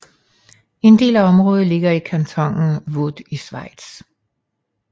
En del af området ligger i kantonen Vaud i Schweiz